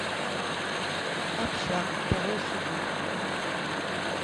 общага второй сезон